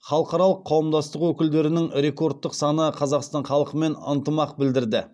халықаралық қауымдастық өкілдерінің рекордтық саны қазақстан халқымен ынтымақ білдірді